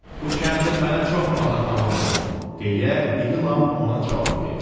Bu kəndir mənə çox baha tamam olub, deyə iri Lam ona cavab verdi.